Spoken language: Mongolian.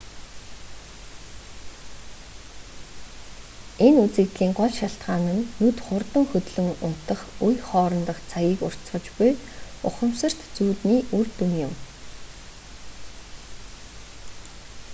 энэ үзэгдлийн гол шалтгаан нь нүд хурдан хөдлөн унтах үе хоорондох цагийг уртасгаж буй ухамсарт зүүдний үр дүн юм